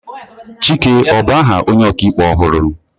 Chike ọ bu aha onye ọka ikpe ọhụrụ?